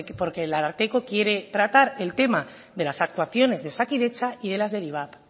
porque el ararteko quiere tratar el tema de las actuaciones de osakidetza y de las del ivap